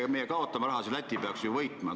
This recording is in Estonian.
Kui meie kaotame raha, siis Läti peaks ju võitma.